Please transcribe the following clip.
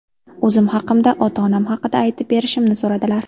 O‘zim haqimda, ota-onam haqida aytib berishimni so‘radilar.